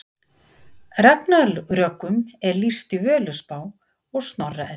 ragnarökum er lýst í völuspá og snorra eddu